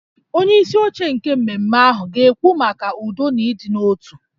Onyeisi oche nke mmemme ahụ ga-ekwu maka udo na ịdị n'otu